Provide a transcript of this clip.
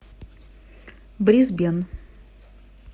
брисбен